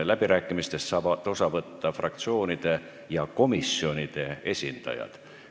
Läbirääkimistest saavad osa võtta fraktsioonide ja komisjonide esindajad.